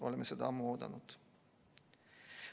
Oleme seda ammu oodanud.